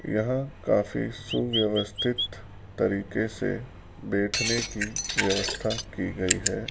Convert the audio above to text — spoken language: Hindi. यह काफी सुव्यवस्थित तरीके से बैठने की व्यवस्था की गई है।